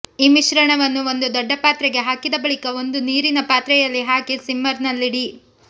ಈ ಮಿಶ್ರಣವನ್ನು ಒಂದು ದೊಡ್ಡ ಪಾತ್ರೆಗೆ ಹಾಕಿದ ಬಳಿಕ ಒಂದು ನೀರಿನ ಪಾತ್ರೆಯಲ್ಲಿ ಹಾಕಿ ಸಿಮ್ಮರ್ ನಲ್ಲಿಡಿ